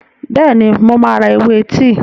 Bẹ́ẹ̀ni, mo máa ra ewé tíì.